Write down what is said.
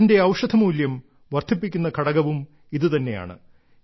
അതിന്റെ ഔഷധമൂല്യം വർദ്ധിപ്പിക്കുന്ന ഘടകവും ഇതുതന്നെയാണ്